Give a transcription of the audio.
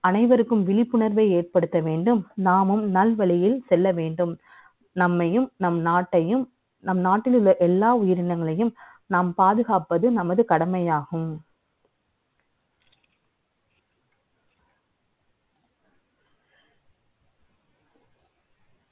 அனை வருக்கும் விழிப்புணர்வை ஏற்படுத்த வே ண்டும். நாமும் நல்வழியில் செ ல்ல வே ண்டும். நம்மை யும், நம் நாட்டை யும், நம் நாட்டில் உள்ள எல்லா உயிரினங்களை யும், நாம் பாதுகாப்பது நமது கடமை யாகும்